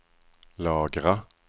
lagra